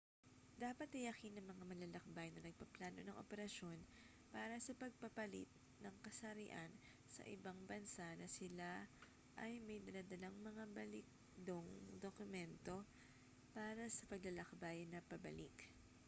dapat tiyakin ng mga manlalakbay na nagpaplano ng operasyon para sa pagpapalit ng kasarian sa ibang bansa na sila ay may dala-dalang mga balidong dokumento para sa paglalakbay na pabalik